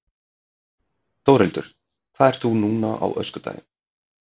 Þórhildur: Hvað ert þú núna á öskudaginn?